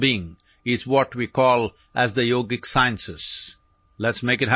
ആന്തരിക സൌഖ്യത്തിന്റെ സാങ്കേതികവിദ്യകളെയാണു നാം യോഗിക് ശാസ്ത്രങ്ങൾ എന്നു വിളിക്കുന്നത്